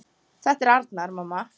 Þetta er Arnar, mamma!